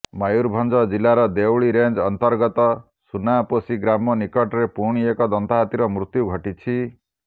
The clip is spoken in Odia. ମୟୂରଭଞ୍ଜ ଜିଲ୍ଲାର ଦେଉଳି ରେଞ୍ଜ ଅନ୍ତର୍ଗତ ସୁନାପୋଷୀ ଗ୍ରାମ ନିକଟରେ ପୁଣି ଏକ ଦନ୍ତାହାତୀର ମୃତ୍ୟୁ ଘଟିଛି